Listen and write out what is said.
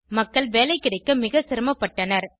மக்கள் வேலை கிடைக்க மிக சிரமபட்டனர்